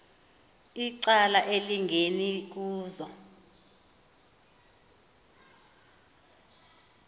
icala elingeni kuzo